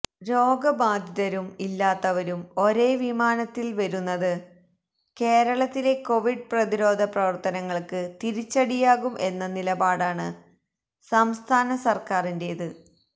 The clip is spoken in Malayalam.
രോഗബാധിതരും ഇല്ലാത്തവരും ഒരേ വിമാനത്തിൽ വരുന്നത് കേരളത്തിലെ കൊവിഡ് പ്രതിരോധ പ്രവർത്തനങ്ങൾക്ക് തിരിച്ചടിയാകും എന്ന നിലപാടാണ് സംസ്ഥാന സർക്കാരിന്റെത്